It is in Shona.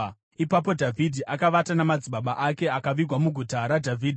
Ipapo Dhavhidhi akavata namadzibaba ake, akavigwa muGuta raDhavhidhi.